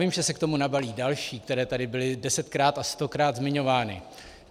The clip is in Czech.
Vím, že se k tomu nabalí další, které tady byly desetkrát a stokrát zmiňovány.